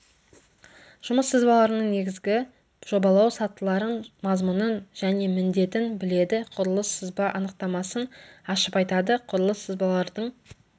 жұмыс сызбаларының негізгі жобалау сатыларын мазмұнын және міндетін біледі құрылыс сызба анықтамасын ашып айтады құрылыс сызбалардың